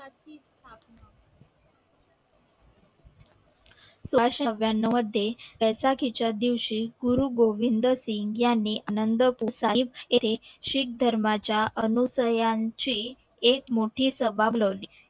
एकोणीशे नव्यानव मध्ये त्याचा खिचा दिवशी गुरु गोविंदसिंग यांनी आनंद प्रोसाहित शीख धर्मा च्या अनुसयाची एक मोठी सभा बोलवली